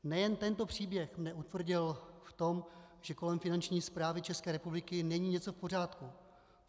Nejen tento příběh mě utvrdil v tom, že kolem Finanční správy České republiky není něco v pořádku.